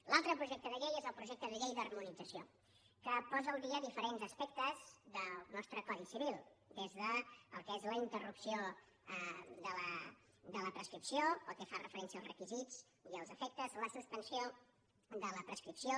l’altre projecte de llei és el projecte de llei d’harmonització que posa al dia diferents aspectes del nostre codi civil des del que és la interrupció de la prescripció pel que fa referència als requisits i als efectes la suspensió de la prescripció